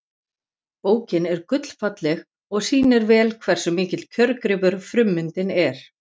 Bókin er gullfalleg og sýnir vel hversu mikill kjörgripur frummyndin er.